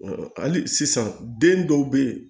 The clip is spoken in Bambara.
hali sisan den dɔw bɛ yen